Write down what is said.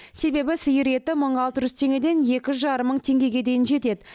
себебі сиыр еті мың алты жүз теңгеден екі жарым мың теңгеге дейін жетеді